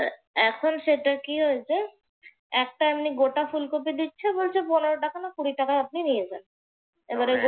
এখন সেটা কি হয়েছে? একটা এমনি গোটা ফুলকপি দিচ্ছে বলছে পনেরো টাকা না কুড়ি টাকায় আপনি নিয়ে যান। এবারে গোট এবারে গোটা